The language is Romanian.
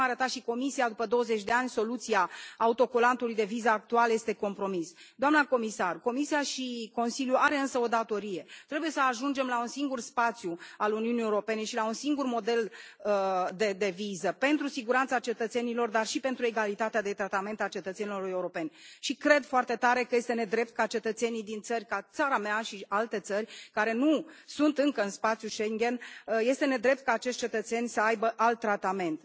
Așa cum arăta și Comisia, după 20 de ani, soluția autocolantului de viză actuală este compromisă. Doamna comisar, Comisia și Consiliul au însă o datorie trebuie să ajungem la un singur spațiu al Uniunii Europene și la un singur model de viză pentru siguranța cetățenilor dar și pentru egalitatea de tratament al cetățenilor europeni, și cred foarte tare că este nedrept ca cetățenii din țări ca țara mea și alte țări care nu sunt încă în spațiul Schengen, este nedrept ca acești cetățeni să aibă alt tratament.